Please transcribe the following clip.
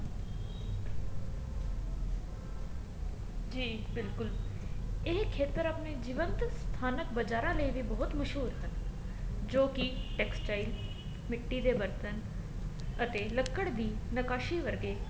ਜੀ ਬਿਲਕੁਲ ਇਹ ਖੇਤਰ ਆਪਣੇ ਜੀਵੰਤ ਸਥਾਨਕ ਬਜਾਰਾ ਲਈ ਵੀ ਬਹੁਤ ਮਸ਼ਹੂਰ ਹਨ ਜੋ ਕੀ textile ਮਿਟੀ ਦੇ ਬਰਤਨ ਅਤੇ ਲਕੜ ਦੀ ਨਿਕਾਸ਼ੀ ਵਰਗੇ